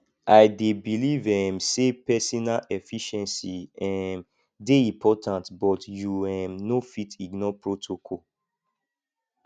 i dey believe um say pesinal efficiency um dey important but you um no fit ignore protocol